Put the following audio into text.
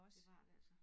Det var det altså